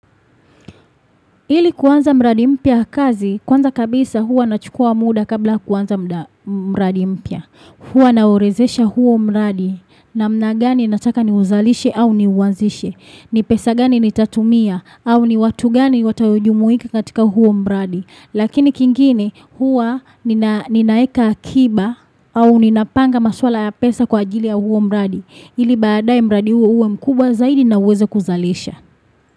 Ili kuanza mradi mpya kazi, kwanza kabisa hua nachukua muda kabla yakuanza mradi mpya. Hua naorodhesha huo mradi na mnagani nataka ni uzalishe au ni uanzishe. Ni pesa gani ni tatumia au ni watu gani watayojumuika katika huo mradi. Lakini kingine hua ninaweka akiba au ninapanga maswala ya pesa kwa ajili ya huo mradi. Ili baadaye mradi huo uwe mkubwa zaidi na uweze kuzalisha.